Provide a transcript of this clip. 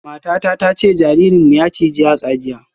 Matata ta ce jaririnmu ya ciji yatsa jiya